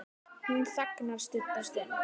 Hún þagnar stutta stund.